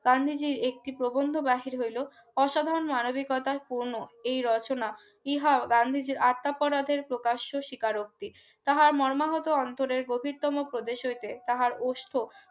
গান্ধীজী একটি প্রবন্ধ বাবাসীর হইল অসাধারণ মানবিকতা পূর্ণ এই রচনা ইহা গান্ধীজীর আটটা পড়াদের প্রকাশ্য স্বীকারোক্তি তাহার মর্মাহত অন্তরের গভীরতম প্রদেশ হইতে তাহার অস্থ